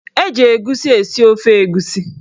Eji egusi esi ofe egusi.